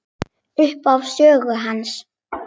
Upphaf sögu hans.